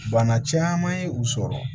Bana caman ye u sɔrɔ